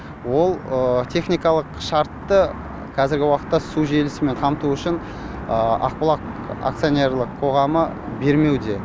ол техникалық шартты қазіргі уақытта су желісімен қамту үшін ақбұлақ акционерлік қоғам бермеуде